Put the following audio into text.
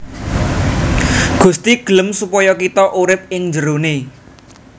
Gusti gelem supaya kita urip ing jeroné